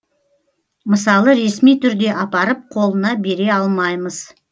мысалы ресми түрде апарып қолына бере алмаймыз